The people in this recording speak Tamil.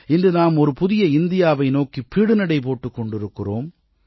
இன்று நாம் ஒரு புதிய இந்தியாவை நோக்கி பீடுநடை போட்டுக் கொண்டிருக்கிறோம்